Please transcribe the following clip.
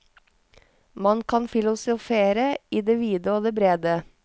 Man kan filosofere i det vide og det brede.